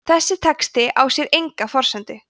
þessi texti á sér enga forsendu